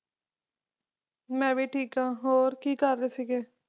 ਮੈਂ ਵੀ ਠੀਕ ਆ ਹੋਰ ਕਿ ਕਰਦੇ ਸੀਗੇ